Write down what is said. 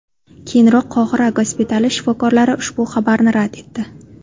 Keyinroq Qohira gospitali shifokorlari ushbu xabarni rad etdi .